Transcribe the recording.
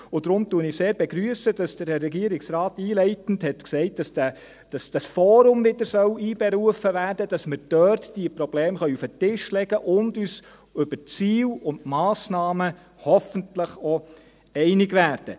Und deshalb begrüsse ich sehr, dass der Herr Regierungsrat einleitend gesagt hat, dass das Forum wieder einberufen werden soll, damit wir dort diese Probleme auf den Tisch legen können und uns über die Ziele und Massnahmen hoffentlich auch einig werden.